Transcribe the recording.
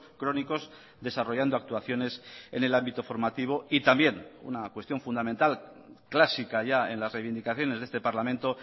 crónicos desarrollando actuaciones en el ámbito formativo y también una cuestión fundamental clásica ya en las reivindicaciones de este parlamento